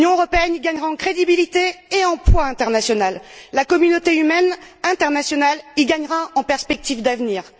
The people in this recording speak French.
L'Union européenne y gagnera en crédibilité et en poids international. La communauté humaine internationale y gagnera en perspectives d'avenir.